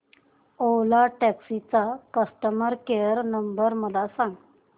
ओला taxi चा customer care number मला सांग